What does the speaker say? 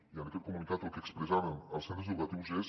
i en aquest comunicat el que expressàvem als centres educatius és